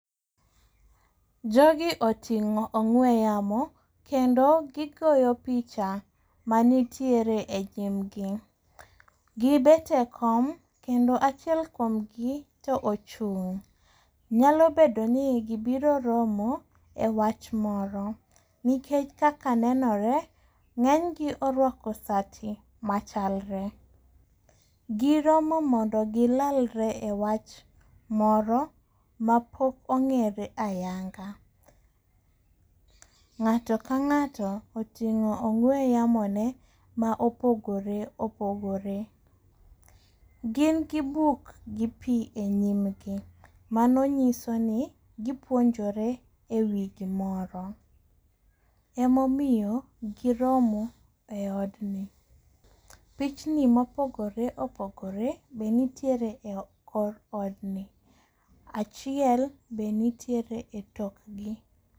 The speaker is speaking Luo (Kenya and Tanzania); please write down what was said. Jogi oting'o ong'we yamo kendo gigoyo picha manitiere e nyim gi. Gibet e kom kendo achiel kuom gi to ochung'. Nyalo bedo ni gibiro romo e wach moro nikech kaka nenore, ng'eny gi orwako sati machalre. Giromo mondo gilalre e wach moro mapok ong'ere ayanga. Ng'ato ka ng'ato oting'o ong'we yamo ne ma opogore opogore. Gin gi buk gi pi e nyimgi. Mano nyiso ni gipuonjore e wi gimoro. Emomiyo giromo e od ni. Pichni mopogore opogore be nitiere e kor od ni. Achiel be nitiere e tok gi.